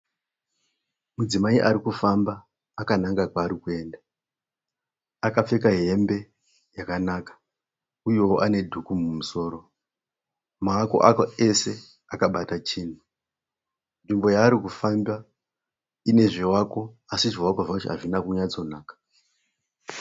Mudzimai ari kufamba akananga kwaari kuenda. Akapfeka hembe yakanaka uyewo ane dhuku mumusoro. Maoko ake ese akabata chinhu. Nzvimbo yaari kufamba ine zvivako asi zvivako zvacho hazvina kunyatsonaka.